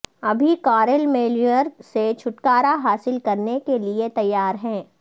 ابھی Karl Mueller سے چھٹکارا حاصل کرنے کے لئے تیار ہے